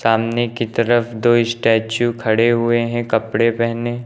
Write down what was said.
सामने की तरफ दो स्टेच्यू खड़े हुए हैं कपड़े पहने।